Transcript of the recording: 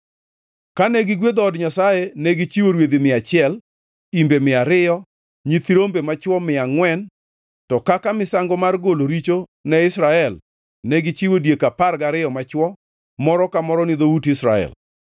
Kane gigwedho od Nyasaye negichiwo rwedhi mia achiel, imbe mia ariyo, nyithi rombe machwo mia angʼwen to kaka misango mar golo richo ne Israel, negichiwo diek apar gariyo machwo, moro ka moro ni dhout Israel.